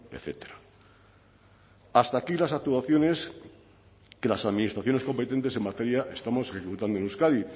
etcétera hasta aquí las actuaciones que las administraciones competentes en materia estamos ejecutando en euskadi